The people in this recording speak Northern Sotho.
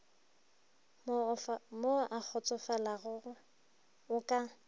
mo o kgotsofalago o ka